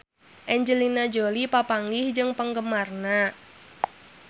Angelina Jolie papanggih jeung penggemarna